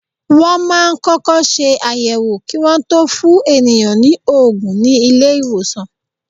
Wọ́n máa ń kọ́kọ́ ṣe àyẹ̀wò kí Wọ́n tó fún ènìyàn ní òògùn ní ilé ìwòsàn.